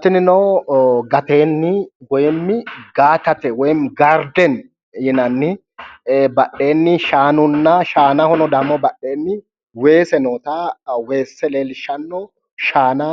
tinino gateenni woy gaatate woyiinimi gaatate woyiinimmi gaardeni yinani badheenni shaanunna shaanahono badheenni weese noota leellishshanno shaana